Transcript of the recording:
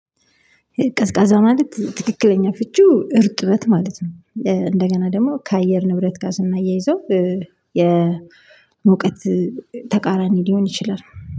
ቀዝቃዛ ማለት ትክክለኛ ፍቺው እርጥበት ማለት ነው። እንደገና ደግሞ ከአየር ንብረት ጋር ስናያይዘው የሙቀት ተቃራኒ ሊሆን ይችላል